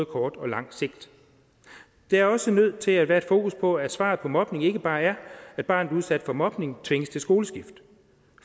kort og langt sigt der er også nødt til at være et fokus på at svaret på mobning ikke bare er at barnet udsat for mobning tvinges til skoleskift